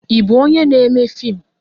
Ị bụ onyé n'émé fim